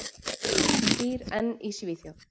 Hún býr enn í Svíþjóð.